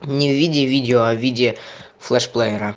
не в виде видео а виде флешплеера